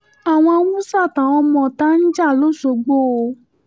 àwọn haúsá àtàwọn ọmọọ̀ta ń jà lọ́ṣọ́gbó o